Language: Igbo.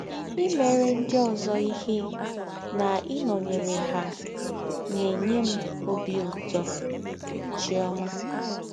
Imere ndị ọzọ ihe na ịnọnyere ha na - enye m ọbi ụtọ. ”— Chiọma.